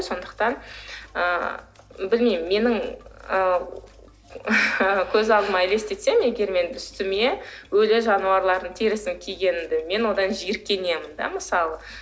сондықтан ы білмеймін менің ы көз алдыма елестетсем егер мен үстіме өлі жануарлардың терісін кигенімді мен одан жиіркенемін де мысалы